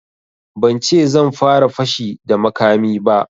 Ban ce zan fara fashi da makami ba